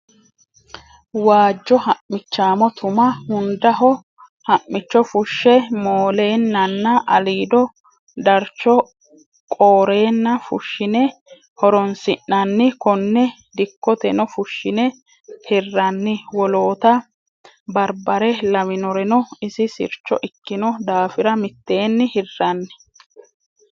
Waajjo ha'michamo tuma hundaho ha'micho fushshe moolennanna aliido darcho qoorenna fushine horonsi'nanni kone dikkoteno fushine hiranni wolootta baribare lawinoreno isi sircho ikkino daafira mitteenni hiranni.